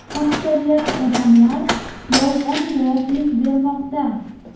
Aksariyat odamlar yolg‘on guvohlik bermoqda.